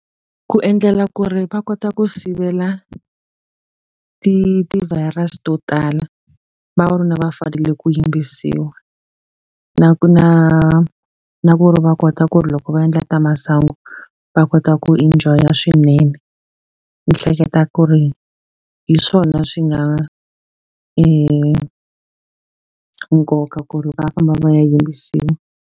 Ku endlela ku ri va kota ku sivela ti-virus to tala. Vavanuna va fanele ku yimbisiwa, na ku na na ku ri va kota ku ri loko va timhaka ta masangu va kota ku enjoy-a swinene. Ni hleketa ku ri hi swona swi nga nkoka ku ri va famba va ya yimbisiwa.